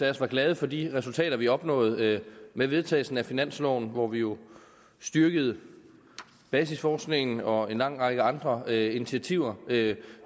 af os var glade for de resultater vi opnåede med vedtagelsen af finansloven hvor vi jo styrkede basisforskningen og en lang række andre initiativer ved